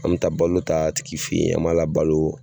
An mɛ taa balo ta a tigi fɛ ye an m'a labalo.